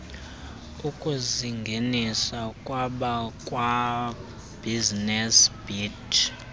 ukusingenisa kwabakwabusiness beat